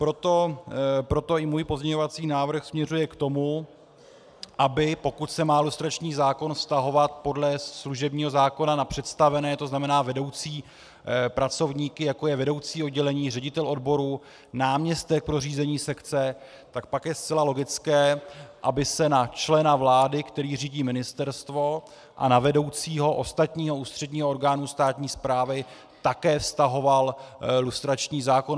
Proto i můj pozměňovací návrh směřuje k tomu, aby pokud se má lustrační zákon vztahovat podle služebního zákona na představené, to znamená vedoucí pracovníky, jako je vedoucí oddělení, ředitel odboru, náměstek pro řízení sekce, tak pak je zcela logické, aby se na člena vlády, který řídí ministerstvo, a na vedoucího ostatního ústředního orgánu státní správy také vztahoval lustrační zákon.